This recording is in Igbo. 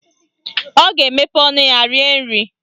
Ọ ga-emepe ọnụ ya rie nri